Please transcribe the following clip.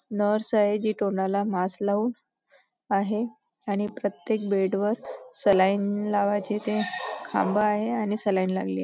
Nurse आहे जी तोंडला मास्क लावून आहे आणि प्रत्येक बेड वर सलाइन लावायचे ते खांब आहे आणि सलाइन लागली आहे.